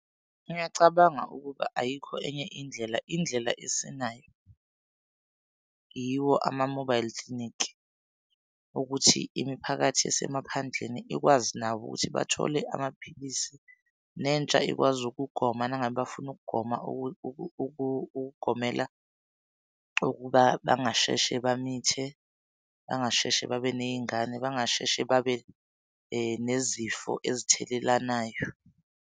Ngiyacabanga ukuba ayikho enye indlela. Indlela esinayo yiwo ama-mobile clinic ukuthi imiphakathi esemaphandleni ikwazi nabo ukuthi bathole amaphilisi, nentsha ikwazi ukugoma nangabe bafuna ukugoma ukugomela ukuba bangasheshe bamithe, bangasheshe babe ney'ngane, bangasheshe babe nezifo ezithelelanayo.